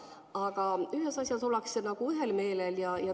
Aga ühes asjas ollakse ühel meelel.